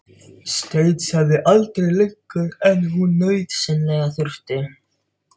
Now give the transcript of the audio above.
Stansaði aldrei lengur en hún nauðsynlega þurfti.